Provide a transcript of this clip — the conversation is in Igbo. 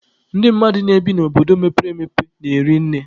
Ndị mmadụ na-ebi n'obodo mepere emepe na-eri nne.